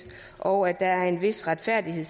og at der skal være en vis retfærdighed